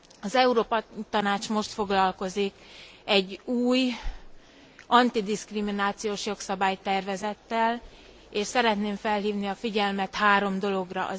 Az Európa Tanács most foglalkozik egy új, antidiszkriminációs jogszabálytervezettel, és szeretném felhívni a figyelmet három dologra.